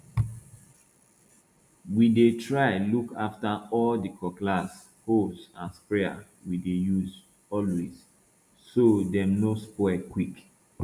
we dey try look after all di cutlass hoes and sprayers we dey use always so dem no spoil quick